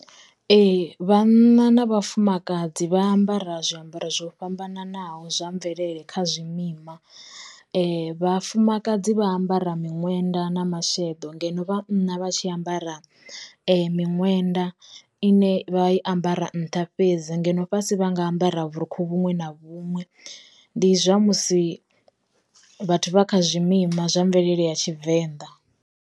Ee, vhana na vhafumakadzi vha ambara zwiambaro zwo fhambananaho zwa mvelele kha zwimima, vhafumakadzi vha ambara miṅwenda na masheḓo, ngeno vhana vha tshi ambara miṅwenda ine vha i ambara nṱha fhedzi ngeno fhasi vha nga ambara vhurukhu vhuṅwe na vhuṅwe, ndi zwa musi vhathu vha kha zwi mima zwa mvelele ya tshivenḓa.